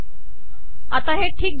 आता हे ठीक दिसते आहे